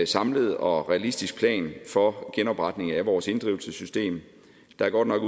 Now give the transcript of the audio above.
samlet og realistisk plan for genopretningen af vores inddrivelsessystem der er godt nok